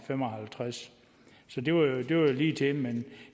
fem og halvtreds så det var jo ligetil men